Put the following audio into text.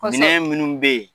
Minɛn minnu bɛ yen